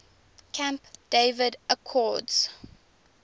camp david accords